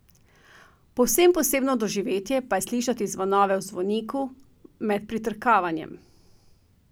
Povsem posebno doživetje pa je slišati zvonove v zvoniku, med pritrkavanjem.